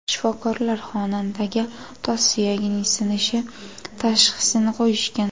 Shifokorlar xonandaga tos suyagining sinishi tashxisini qo‘yishgan.